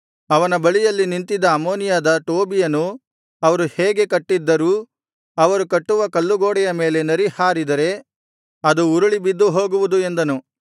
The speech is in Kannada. ಅವನ ಬಳಿಯಲ್ಲಿ ನಿಂತಿದ್ದ ಅಮ್ಮೋನಿಯಾದ ಟೋಬೀಯನು ಅವರು ಹೇಗೆ ಕಟ್ಟಿದ್ದರೂ ಅವರು ಕಟ್ಟುವ ಕಲ್ಲುಗೋಡೆಯ ಮೇಲೆ ನರಿ ಹಾರಿದರೆ ಅದು ಉರುಳಿ ಬಿದ್ದು ಹೋಗುವುದು ಎಂದನು